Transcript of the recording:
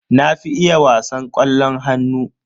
Na fi iya wasan ƙwallon hannu.